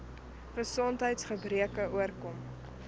gesondheids gebreke oorkom